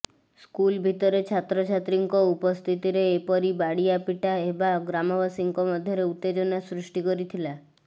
school ଭିତରେ ଛାତ୍ରଛାତ୍ରୀଙ୍କ ଉପସ୍ଥିତିରେ ଏପରି ବାଡିଆପିଟା ହେବା ଗ୍ରାମବାସୀଙ୍କ ମଧ୍ୟରେ ଉତ୍ତେଜନା ସୃଷ୍ଟି କରିଥିଲା